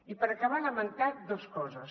i per acabar lamentar dues coses